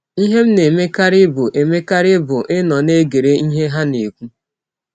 Ihe m na - emekarị bụ emekarị bụ ịnọ na - egere ihe ha na - ekwụ.